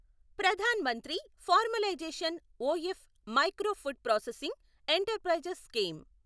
Pradhan Mantri formalisation of micro food processing enterprises scheme